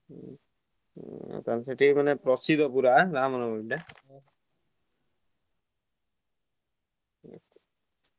ହୁଁ ତମର ସେଇଠି ସିଏ ପ୍ରସିଦ୍ଧ ପୁରା ନାଁ ରମନବମୀ ନାଁ?